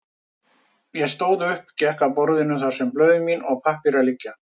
Ég stóð upp, gekk að borðinu þar sem blöð mín og pappírar liggja.